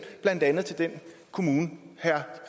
blandt andet til den kommune herre